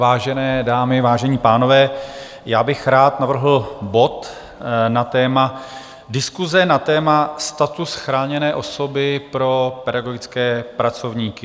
Vážené dámy, vážení pánové, já bych rád navrhl bod na téma Diskuse na téma status chráněné osoby pro pedagogické pracovníky.